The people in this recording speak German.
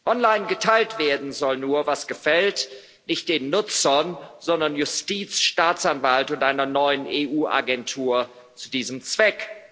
Online geteilt werden soll nur, was gefällt nicht den Nutzern, sondern Justiz, Staatsanwalt und einer neuen EU Agentur zu diesem Zweck.